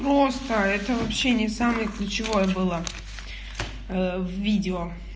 просто это вообще не самое ключевое было видео